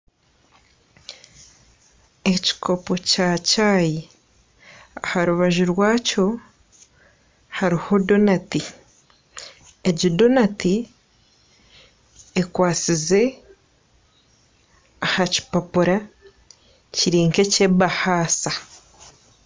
Ekikopo kya chayi aha rubaju rwakyo hariho donati, egi donati ekwatsize aha kipapura kiri nk'ekyebahaasa